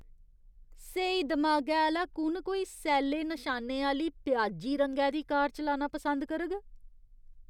स्हेई दमागै आह्‌ला कु'न कोई सैल्ले नशानें आह्‌ली प्याजी रंगै दी कार चलाना पसंद करग?